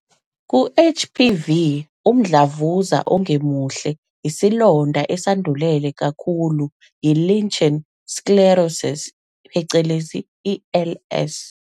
Ku- HPV umdlavuza ongemuhle isilonda esandulele kakhulu yi-lichen sclerosus phecelezi LS.